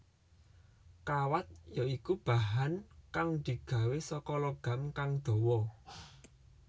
Kawat ya iku bahan kang digawé saka logam kang dawa